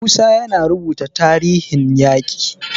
Musa yana rubuta tarihin yaƙin.